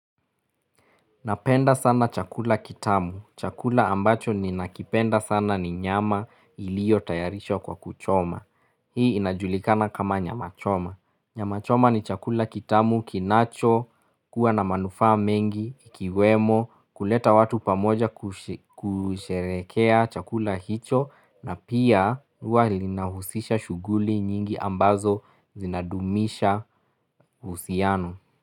Napenda sana chakula kitamu. Chakula ambacho ninakipenda sana ni nyama iliyo tayarishwa kwa kuchoma. Hii inajulikana kama nyama choma. Nyama choma ni chakula kitamu kinacho kuwa na manufaa mengi, ikiwemo, kuleta watu pamoja kusherehekea chakula hicho na pia huwa linahusisha shughuli nyingi ambazo zinadumisha uhusiano.